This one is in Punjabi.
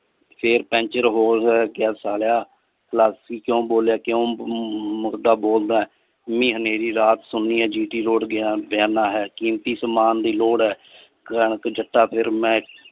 ਫਿਰ ਪੈਂਚਰ ਹੋ ਗਿਆ ਸਾਲਿਆ ਕਿਊ ਬੋਲੀਆਂ ਕਿਊ ਮੁਰਦਾ ਬੋਲਦਾਂ ਮੀਂਹ ਹਨੇਰੀ ਰਾਤ ਸੁਣੀ ਆ g. t road ਬਿਆਨਾਂ ਹੈ ਕੀਮਤੀ ਸਮਾਨ ਦੀ ਲੋੜ ਹੈ ਕਣਕ ਜੱਟਾ ਫਿਰ ਮੈਂ।